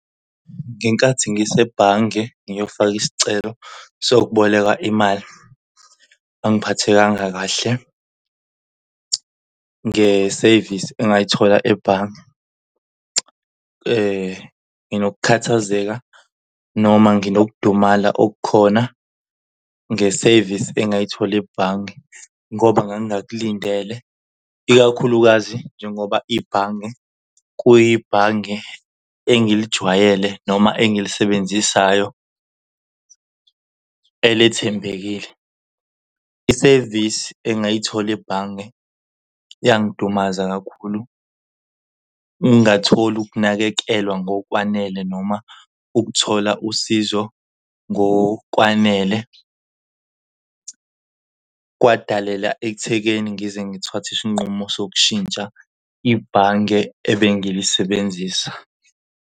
Ngenkathi ngisebhange ngiyofaka isicelo sokuboleka imali angiphathekangaka kahle ngesevisi engayithola ebhange. Nginokukhathazeka noma nginokudumala okukhona ngesevisi engayithola ebhange, ngoba ngangingalindele ikakhulukazi njengoba ibhange kuyibhange engilijwayele noma engilisebenzisayo elethembekile. Isevisi engayithola ebhange yangidumaza kakhulu. Ukungatholi ukunakekelwa ngokwanele noma ukuthola usizo ngokwanele kwadaleka ekuthekeni ngize ngithathe isinqumo sokushintsha ibhange ebengilisebenzisa.